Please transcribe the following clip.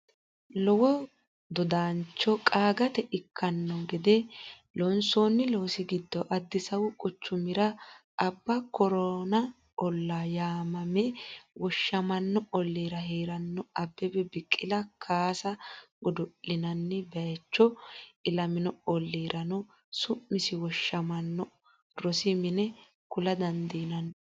lowo dodaancho qaagate ikkanno gede loonsoonni loosi giddo Addisaawu quchumira Abba Kooran ollaa yaamameme woshshamanno ollira hee’ranno Abbebe Biqili kaase godo’linanni bayicho, ilamino olli- rano su’misinni woshshamanno rosi mine kula dandiinanni.